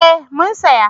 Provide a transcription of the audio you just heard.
Ee mun saya.